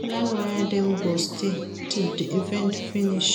plan where dem go stay till di event finish